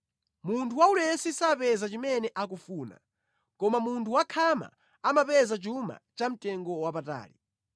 Munthu waulesi sapeza chimene akufuna, koma munthu wakhama amapeza chuma chamtengo wapatali.